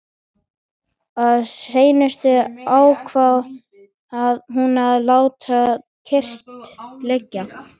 Að seinustu ákvað hún að láta kyrrt liggja.